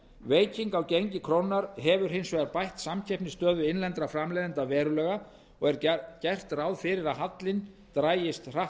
veiking á gengi krónunnar hefur hins vegar bætt samkeppnisstöðu innlendra framleiðenda verulega og er gert ráð fyrir að hallinn dragist hratt